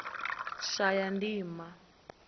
shayandima